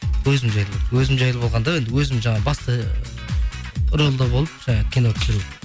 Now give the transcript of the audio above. өзім жайлы өзім жайлы болғанда енді өзім жаңа басты рөлде болып жаңа кино түсіру